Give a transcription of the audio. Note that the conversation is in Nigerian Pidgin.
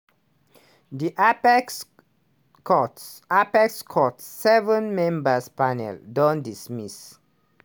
di apex court apex court seven-member panel don dismiss